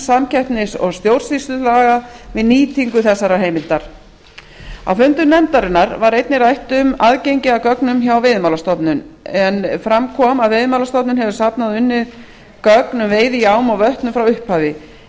samkeppnis og stjórnsýslulaga við nýtingu þessarar heimildar á fundum nefndarinnar var einnig rætt um aðgengi að gögnum hjá veiðimálastofnun en fram kom að veiðimálastofnun hefur safnað og unnið gögn um veiði í ám og vötnum frá upphafi í